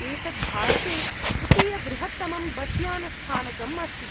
एतत् भारते तृतीयबृहत्तमं बस् यानस्थानकम् अस्ति।